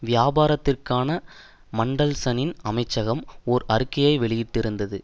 வியாபாரத்திற்கான மன்டல்சனின் அமைச்சகம் ஓர் அறிக்கையை வெளியிட்டிருந்தது